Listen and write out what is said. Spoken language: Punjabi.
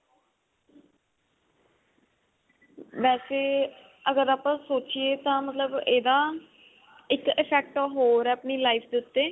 ਵੇਸੇ ਅਗਰ ਆਪਾਂ ਸੋਚਿਏ ਤਾਂ ਮਤਲਬ ਇਹਦਾ ਇੱਕ effect ਹੋਰ ਆ ਆਪਣੀ life ਦੇ ਉੱਤੇ